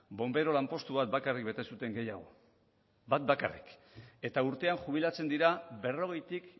bonbero lanpostu bat bakarrik bete zuten gehiago bat bakarrik eta urtean jubilatzen dira berrogeitik